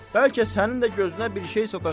Bəlkə sənin də gözünə bir şey sataşıb?